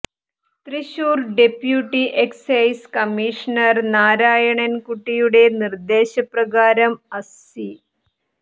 Thrissur deputy excise commissioner Narayanan കുട്ടിയുടെ നിർദ്ദേശ പ്രകാരം അസ്സി